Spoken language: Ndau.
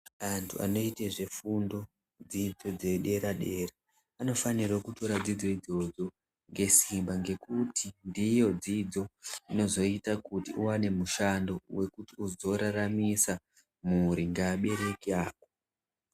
Antu anoite zvefundo dzidzo dzedera-dera anofanirwe kutore dzidzo idzodzo ngesimba ngekuti ndiyo dzidzo inozoita kuti uwane mushando wekuti uzoraramisa mhuri ngeabereki ako.